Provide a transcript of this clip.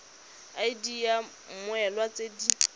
id ya mmoelwa tse di